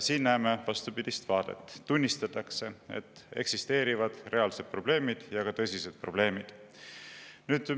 Siin näeme vastupidist vaadet: tunnistatakse, et eksisteerivad reaalsed probleemid, seejuures ka tõsised probleemid.